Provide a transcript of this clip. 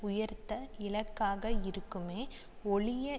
உயர்த்த இலக்காக இருக்குமே ஒழிய